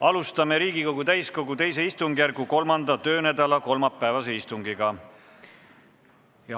Alustame Riigikogu täiskogu II istungjärgu 3. töönädala kolmapäevast istungit.